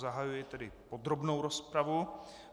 Zahajuji tedy podrobnou rozpravu.